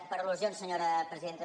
per al·lusions senyora presidenta